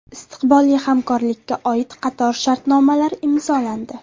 Istiqbolli hamkorlikka oid qator shartnomalar imzolandi.